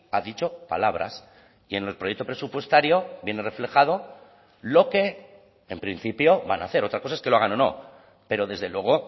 ha dicho palabras y en el proyecto presupuestario viene reflejado lo que en principio van a hacer otra cosa es que lo hagan o no pero desde luego